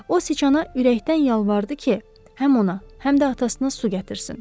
O siçana ürəkdən yalvardı ki, həm ona, həm də atasına su gətirsin.